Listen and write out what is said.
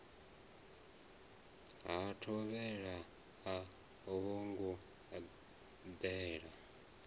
ha thovhele a vhongo dela